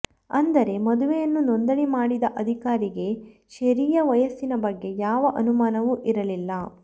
ಅಂದರೆ ಮದುವೆಯನ್ನು ನೋಂದಣಿ ಮಾಡಿದ ಅಧಿಕಾರಿಗೆ ಶೆರಿಯ ವಯಸ್ಸಿನ ಬಗ್ಗೆ ಯಾವ ಅನುಮಾನವೂ ಇರಲಿಲ್ಲ